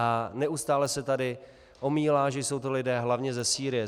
A neustále se tady omílá, že jsou to lidé hlavně ze Sýrie.